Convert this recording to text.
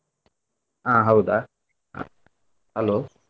ಹಾ ಹೌದಾ? Hello.